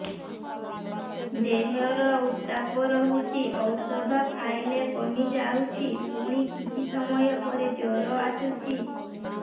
ଦେହର ଉତ୍ତାପ ରହୁଛି ଔଷଧ ଖାଇଲେ କମିଯାଉଛି ପୁଣି କିଛି ସମୟ ପରେ ଜ୍ୱର ଆସୁଛି